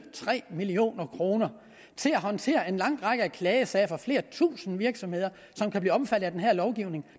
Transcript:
tre million kroner til at håndtere den lange række af klagesager der flere tusinde virksomheder som kan blive omfattet af den her lovgivning